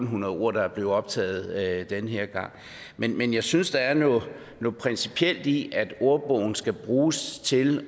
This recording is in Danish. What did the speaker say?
hundrede ord der er blevet optaget den her gang men men jeg synes måske der er noget principielt i at ordbogen skal bruges til